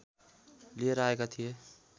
लिएर आएका थिए